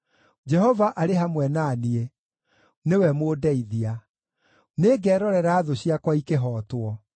Jehova arĩ hamwe na niĩ; nĩwe mũndeithia. Nĩngerorera thũ ciakwa ikĩhootwo.